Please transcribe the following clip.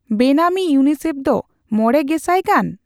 ᱵᱮᱱᱟᱢᱤ ᱤᱭᱩᱮᱱᱟᱭᱥᱤᱤᱮᱯᱷ ᱫᱚ ᱢᱚᱲᱮ ᱜᱮᱥᱟᱭ ᱜᱟᱱ ?